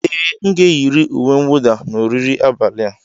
Ee, m ga-eyiri uwe mwụda na oriri abalị a.